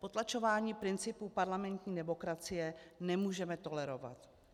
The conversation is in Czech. Potlačování principů parlamentní demokracie nemůžeme tolerovat.